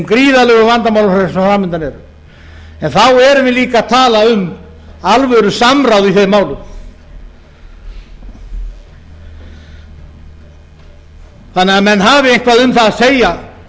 sem fram undan eru en þá erum við líka að tala um alvörusamráð í þeim málum þannig að menn hafi eitthvað um það að segja